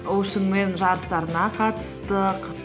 оушенмен жарыстарына қатыстық